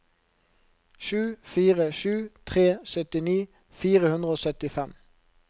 sju fire sju tre syttini fire hundre og syttifem